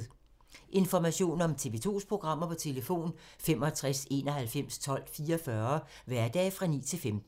Information om TV 2's programmer: 65 91 12 44, hverdage 9-15.